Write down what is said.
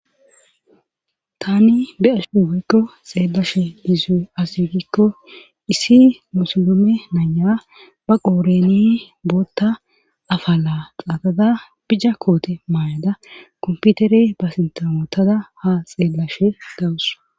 Tani be ashuuweykko xeelashe lizue asyugikko issi musolome naya ba qooreni bootta afala qaaqada bija koote maayada komputerey ba sintamotada ha xeellashe gawus